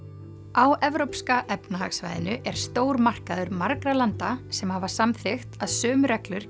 á evrópska efnahagssvæðinu er stór markaður margra landa sem hafa samþykkt að sömu reglur